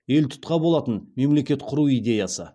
елтұтқа болатын мемлекет құру идеясы